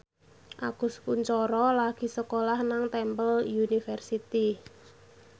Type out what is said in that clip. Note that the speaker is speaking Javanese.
Agus Kuncoro lagi sekolah nang Temple University